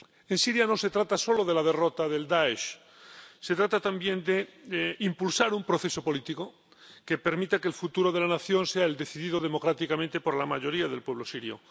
En Siria no se trata solo de la derrota del Dáesh, se trata también de impulsar un proceso político que permita que el futuro de la nación sea el decidido democráticamente por la mayoría del pueblo sirio.